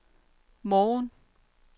morgen